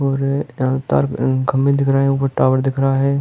और यहाँ तार खम्बे दिख रहे हैं ऊपर टॉवर दिख रहा है।